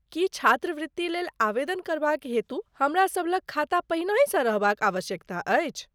की छात्रवृत्ति लेल आवेदन करबाक हेतु हमरासभ लग खाता पहिनहिसँ रहबाक आवश्यकता अछि?